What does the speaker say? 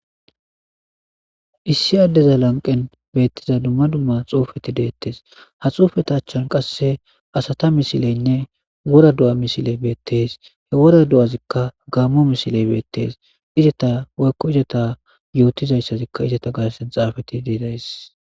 Issi addeza lanqen beettiza dumma dumma xoufeti deettes ha xuufeta achchan qasse asata misileynne wora du'a misiley beettes he wora du'azikka gammo misiley beettees izeta woykko izata yootizayssazikka izata garsen xaafati deidays.